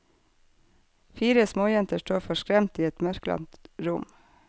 Fire småjenter står forskremt i et mørklagt rom.